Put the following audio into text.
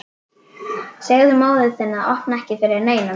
Segðu móður þinni að opna ekki fyrir neinum.